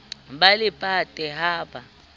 ba le pate ha ba